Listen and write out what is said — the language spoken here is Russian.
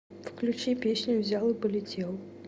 включи песню взял и полетел